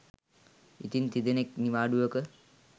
ඉන් තිදෙනෙක් නිවාඩුවක